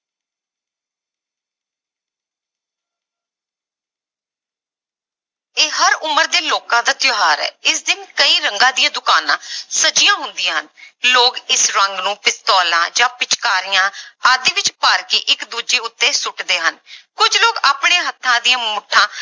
ਇਹ ਹਰ ਉਮਰ ਦੇ ਲੋਕਾਂ ਦਾ ਤਿਉਹਾਰ ਹੈ, ਇਸ ਦਿਨ ਕਈ ਰੰਗਾਂ ਦੀਆਂ ਦੁਕਾਨਾਂ ਸਜੀਆਂ ਹੁੰਦੀਆਂ ਹਨ ਲੋਕ ਇਸ ਰੰਗ ਨੂੰ ਪਿਸਤੋਲਾਂ ਜਾਂ ਪਿਚਕਾਰੀਆਂ ਆਦਿ ਵਿੱਚ ਭਰ ਕੇ ਇੱਕ ਦੂਜੇ ਉੱਤੇ ਸੁੱਟਦੇ ਹਨ ਕੁੱਝ ਲੋਕ ਆਪਣੇ ਹੱਥਾਂ ਦੀਆਂ ਮੁੱਠਾਂ